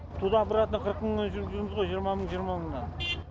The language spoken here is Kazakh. туда обратно қырық мыңмен жүріп жүрміз ғой жиырма мың жиырма мыңнан